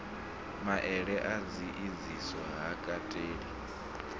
maele a tshiedziso ha kateli